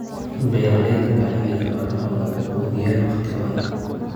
Beeralayda waa in ay xoolahooda ku quudiyaan waqtigooda.